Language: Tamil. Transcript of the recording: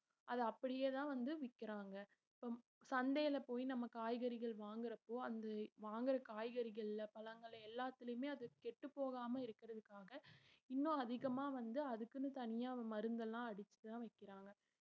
அத அப்படியேதான் வந்து விக்கிறாங்க இப்~ சந்தையில போய் நம்ம காய்கறிகள் வாங்கறப்போ அந்த வாங்கற காய்கறிகள்ல பழங்கள எல்லாத்துலயுமே அது கெட்டுப்போகாம இருக்கிறதுக்காக இன்னும் அதிகமா வந்து அதுக்குன்னு தனியா மருந்து எல்லாம் அடிச்சுதான் விக்கறாங்க